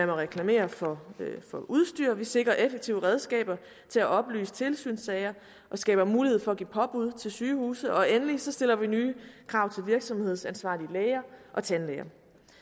må reklamere for udstyr vi sikrer effektive redskaber til at oplyse tilsynssager og skaber mulighed for at give påbud til sygehuset og endelig stiller vi nye krav til virksomhedsansvarlige læger og tandlæger